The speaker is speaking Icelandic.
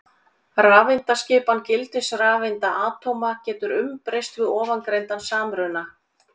Rafeindaskipan gildisrafeinda atóma getur umbreyst við ofangreindan samruna.